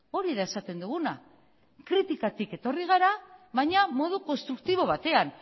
hori da esaten duguna kritikatik etorri gara baina modu konstruktibo batean